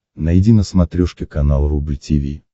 найди на смотрешке канал рубль ти ви